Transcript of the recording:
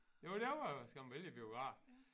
Jo der var skam en vældig biograf